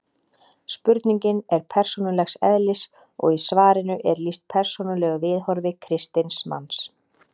Spurningin er persónulegs eðlis og í svarinu er lýst persónulegu viðhorfi kristins manns.